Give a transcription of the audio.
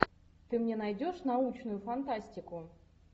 ты мне найдешь научную фантастику